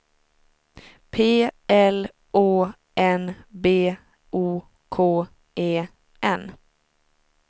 P L Å N B O K E N